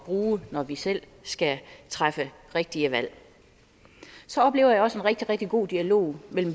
bruge når vi selv skal træffe rigtige valg så oplever jeg også en rigtig rigtig god dialog mellem